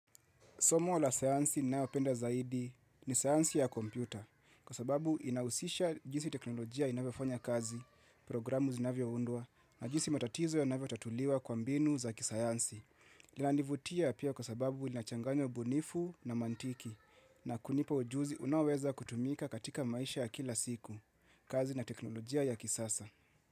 Somo la sayansi ninayopenda zaidi ni sayansi ya kompyuta kwa sababu inahusisha jinsi teknolojia inavyo fanya kazi, programu zinavyo undwa na jinsi matatizo ya navyo tatuliwa kwa mbinu za kisayansi. Lina nivutia pia kwa sababu linachanganyo ubunifu na mantiki na kunipa ujuzi unaoweza kutumika katika maisha ya kila siku kazi na teknolojia ya kisasa.